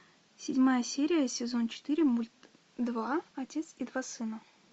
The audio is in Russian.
седьмая серия сезон четыре мульт два отец и два сына